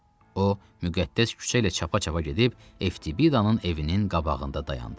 O müqəddəs küçə ilə çapa-çapa gedib FTBidanın evinin qabağında dayandı.